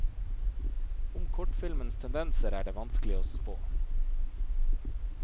Om kortfilmens tendenser er det vanskelig å spå.